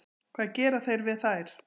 Hvað gera þeir við þær?